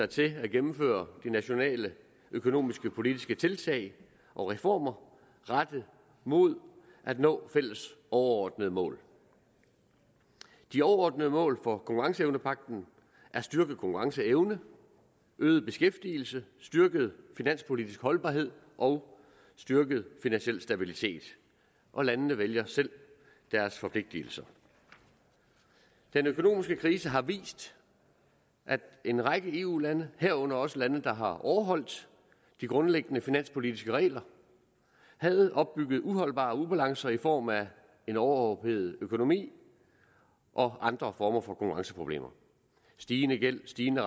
til at gennemføre de nationale økonomiske politiske tiltag og reformer rettet mod at nå fælles overordnede mål de overordnede mål for konkurrenceevnepagten er styrket konkurrenceevne øget beskæftigelse styrket finanspolitisk holdbarhed og styrket finansiel stabilitet og landene vælger selv deres forpligtelser den økonomiske krise har vist at en række eu lande herunder også lande der har overholdt de grundlæggende finanspolitiske regler havde opbygget uholdbare ubalancer i form af en overophedet økonomi og andre former for konkurrenceproblemer stigende gæld stigende